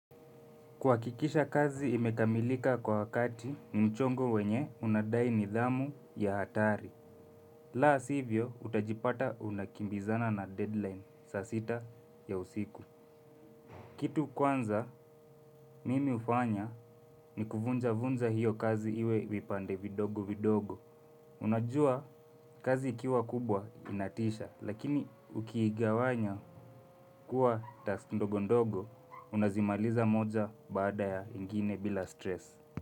Kuhakikisha kazi imekamilika kwa wakati, mchongo wenye unadai nidhamu ya hatari. La sivyo, utajipata unakimbizana na deadline, saa sita ya usiku. Kitu kwanza, mimi hufanya ni kuvunjavunja hiyo kazi iwe vipande vidogo vidogo. Unajua, kazi ikiwa kubwa inatisha, lakini ukiigawanya kuwa task ndogondogo, unazimaliza moja baada ya ingine bila stress.